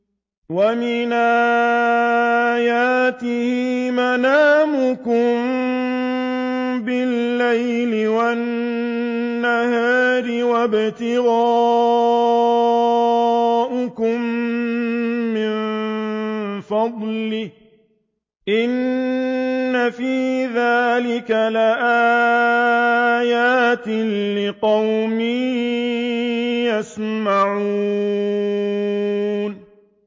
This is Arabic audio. وَمِنْ آيَاتِهِ مَنَامُكُم بِاللَّيْلِ وَالنَّهَارِ وَابْتِغَاؤُكُم مِّن فَضْلِهِ ۚ إِنَّ فِي ذَٰلِكَ لَآيَاتٍ لِّقَوْمٍ يَسْمَعُونَ